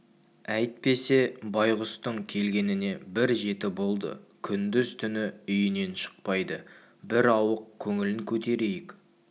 әйтпесе байғұстың келгеніне бір жеті болды күндіз-түні үйінен шықпайды бір ауық көңілін көтерейік те